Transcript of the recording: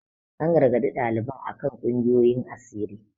An gargaɗi ɗaliban a kan kungiyoyin asiri.